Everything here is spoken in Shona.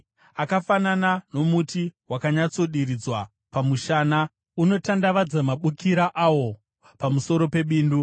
Akafanana nomuti wakanyatsodiridzwa pamushana, unotandavadza mabukira awo pamusoro pebindu;